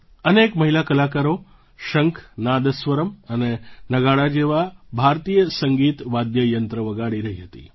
અનેક મહિલા કલાકારો શંખ નાદસ્વરમ્ અને નગાડા જેવાં ભારતીય સંગીત વાદ્ય યંત્ર વગાડી રહી હતી